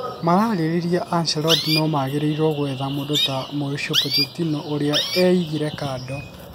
Marariria Ancelotti no magĩrĩrrwo kwetha mũndũ ta Mauricio Pochetinno ũrĩa eigire kando